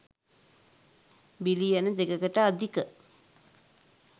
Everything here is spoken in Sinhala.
බිලියන 2 කට අධික